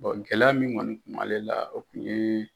gɛlɛya min kɔni kun b'ale la o kun ye